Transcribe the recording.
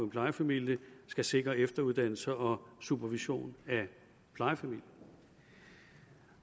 plejefamilier skal sikre efteruddannelse og supervision af plejefamilien